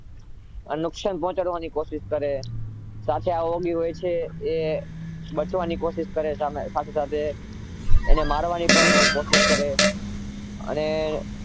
નુકશાન પહોંચાડવાની કોશિશ કરે સાથે આ oggy બચવાની કોશિશ કરે એને મારવાની કોશિશ કરે અને